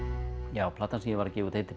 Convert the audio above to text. já platan sem ég var að gefa út heitir